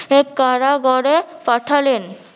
কারাগারে পাঠালেন